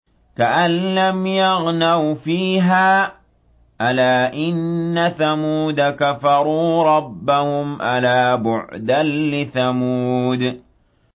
كَأَن لَّمْ يَغْنَوْا فِيهَا ۗ أَلَا إِنَّ ثَمُودَ كَفَرُوا رَبَّهُمْ ۗ أَلَا بُعْدًا لِّثَمُودَ